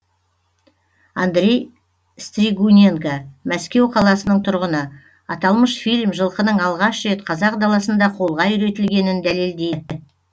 андрей стригуненко мәскеу қаласының тұрғыны аталмыш фильм жылқының алғаш рет қазақ даласында қолға үйретілгенін дәлелдейді